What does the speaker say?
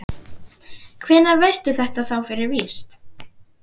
Hvenær veistu þetta þá fyrir víst?